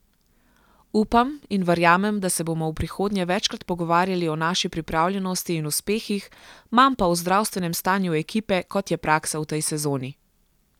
Upam in verjamem, da se bomo v prihodnje večkrat pogovarjali o naši pripravljenosti in uspehih, manj pa o zdravstvenem stanju ekipe, kot je praksa v tej sezoni.